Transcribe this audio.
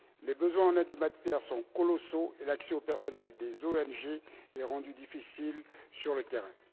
Les besoins en aide humanitaire sont colossaux et l'accès du personnel des ONG est rendu difficile sur le terrain.